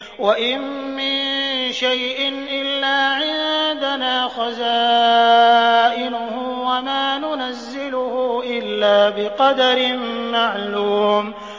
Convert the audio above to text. وَإِن مِّن شَيْءٍ إِلَّا عِندَنَا خَزَائِنُهُ وَمَا نُنَزِّلُهُ إِلَّا بِقَدَرٍ مَّعْلُومٍ